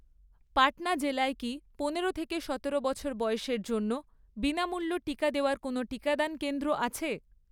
পাটনা জেলায় কি পনেরো থেকে সতেরো বছর বয়সের জন্য বিনামূল্য টিকা দেওয়ার কোনও টিকাদান কেন্দ্র আছে?